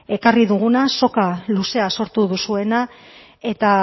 ekarri duguna soka luzea sortu duzuena eta